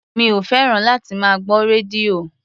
Mi ò fẹ́ràn láti máa gbọ́ rédíò.